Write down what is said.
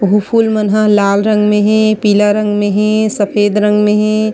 अऊ फूल मन ह लाल रंग मे हे पीला रंग मे हे सफेद रंग मे हे।